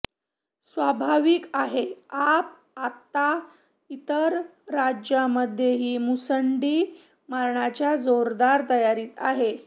स्वाभाविक आहे आप आता इतर राज्यांमध्येही मुसंडी मारण्याच्या जोरदार तयारीत आहे